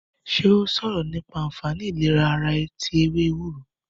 Ṣé ó sọ̀rọ̀ nípa anfaani ìlera ara tí ewé ewúro?